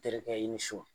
Terikɛ i ni so